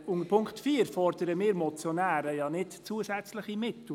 Im Punkt 4 fordern wir Motionäre ja keine zusätzlichen Mittel.